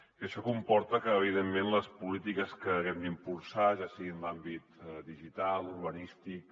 i això comporta que evidentment les polítiques que haguem d’impulsar ja sigui en els àmbits digital urbanístic